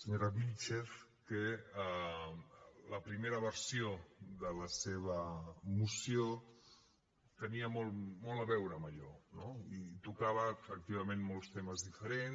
senyora vílchez que la primera versió de la seva moció tenia molt a veure amb allò no i tocava efectivament molts temes diferents